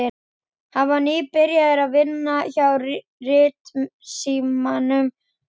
Hann var nýbyrjaður að vinna hjá Ritsímanum.